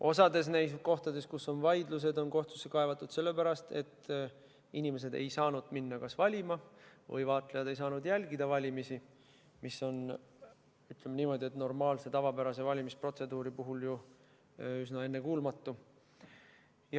Osas kohtades, kus on vaidlused, on kohtusse kaevatud sellepärast, et kas inimesed ei saanud minna valima või vaatlejad ei saanud jälgida valimisi, mis on, ütleme niimoodi, normaalse, tavapärase valimisprotseduuri puhul ju üsna ennekuulmatu.